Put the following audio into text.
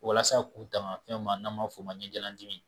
Walasa k'u tanga fɛn ma n'a b'a fɔ o ma ɲɛjalandimi